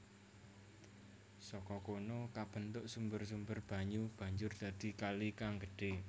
Saka kono kabentuk sumber sumber banyu banjur dadi kali kang gedhe